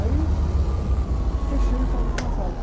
Aí... Fechei o salão de massagem.